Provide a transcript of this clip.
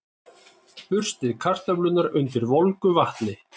Burstið kartöflurnar undir volgu vatni.